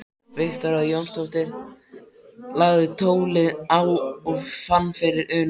Viktoría Jónsdóttir lagði tólið á og fann fyrir unaði.